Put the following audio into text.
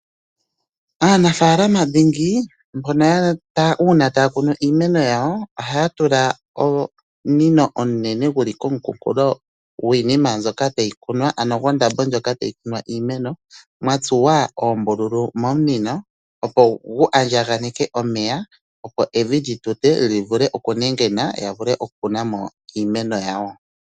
Aanafaalama dhingi uuna taya kunu iimeno yawo ohaya tula omunino omunene gu li kooha gwiinima, ano gondambo ndjoka tayi kunwa iimeno gwa tsuwa oombululu momunino, opo gu andjaganeke omeya, opo evi li tute mu vule okunengena, ya vule okukuna mo iimeno yawo.